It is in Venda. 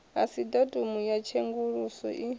asi datumu ya tshenguluso i